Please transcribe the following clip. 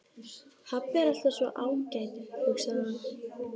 Pabbi er alltaf svo ágætur, hugsaði hann.